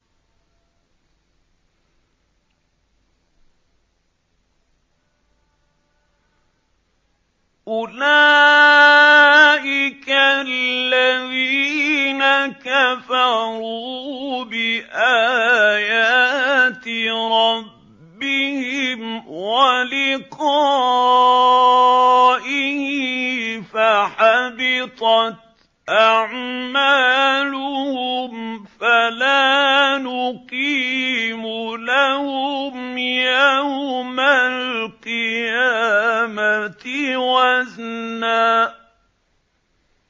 أُولَٰئِكَ الَّذِينَ كَفَرُوا بِآيَاتِ رَبِّهِمْ وَلِقَائِهِ فَحَبِطَتْ أَعْمَالُهُمْ فَلَا نُقِيمُ لَهُمْ يَوْمَ الْقِيَامَةِ وَزْنًا